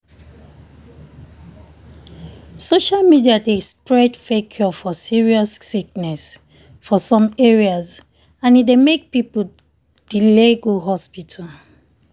social media dey spread fake cure for serious sickness for some areas and e dey make people delay go hospital